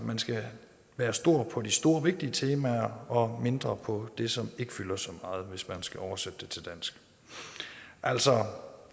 man skal være stor på de store og vigtige temaer og mindre på det som ikke fylder så meget hvis man skal oversætte det til dansk altså